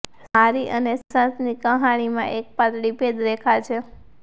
મારી અને સુશાંતની કહાણીમાં એક પાતળી ભેદ રેખા છે